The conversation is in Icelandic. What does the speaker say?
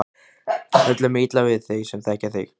Öllum er illa við þig sem þekkja þig!